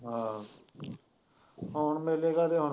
ਆਹ ਹੁਣ ਮੇਲੇ ਕਾਹਦੇ ਹੁਣ